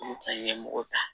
Olu kɔni ye mɔgɔ ta